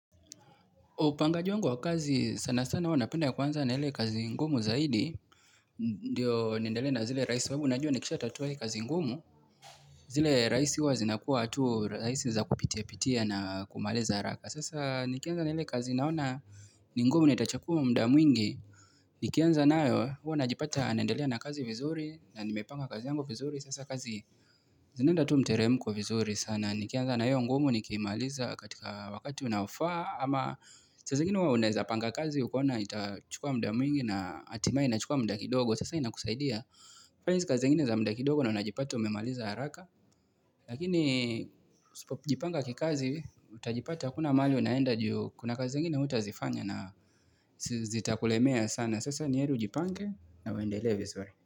Upangaji wangu wa kazi sana sana huwa napenda kuanza na hile kazi ngumu zaidi Ndiyo niendele na zile raisi sababu najua nikishatatuwa hii kazi ngumu zile raisi huwa zinakuwa tu raisi za kupitia pitia na kumaliza haraka Sasa nikianza na hile kazi naona ni ngumu nitachakuwa mda mwingi Nikianza nayo huwanajipata naendele na kazi vizuri na nimepanga kazi yangu vizuri Sasa kazi zinaenda tu mteremko vizuri sana Nikianza na hiyo ngumu nikimaliza katika wakati unaofaa ama saa zingine huwa uneza panga kazi ukaona itachukua mda mwingi na hatimaye inachukua mda kidogo Sasa ina kusaidia kufanya hizi kazi zingine za mda kidogo na unajipata umemaliza haraka Lakini usipopijipanga kikazi utajipata kuna mahali unaenda juu Kuna kazi zingine hutazifanya na zitakulemea sana Sasa niheri ujipange na uendelee vizuri.